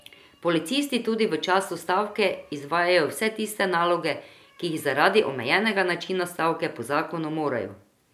Policisti tudi v času stavke izvajajo vse tiste naloge, ki jih zaradi omejenega načina stavke po zakonu morajo.